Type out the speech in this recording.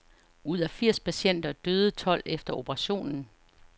Ud af firs patienter døde tolv efter operationen.